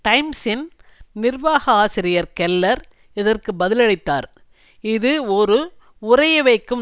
டைம்சின் நிர்வாக ஆசிரியர் கெல்லர் இதற்கு பதிலளித்தார் இது ஒரு உறைய வைக்கும்